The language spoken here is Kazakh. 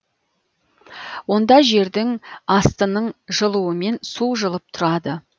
онда жердің астының жылуымен су жылып тұрады